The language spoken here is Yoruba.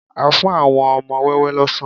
A fún àwọn wọn ọmọ wẹ́wẹ́ lọ́sàn